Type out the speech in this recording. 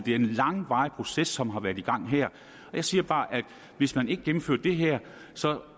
er en langvarig proces som har været i gang her jeg siger bare at hvis man ikke gennemfører det her så